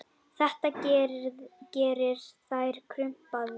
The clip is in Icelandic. Þetta gerir þær krumpaðar.